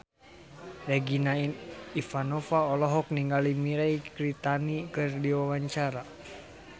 Regina Ivanova olohok ningali Mirei Kiritani keur diwawancara